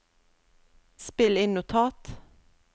spill inn notat